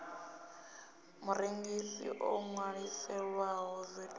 murengisi o ṅwaliselwaho vat online